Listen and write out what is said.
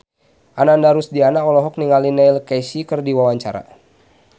Ananda Rusdiana olohok ningali Neil Casey keur diwawancara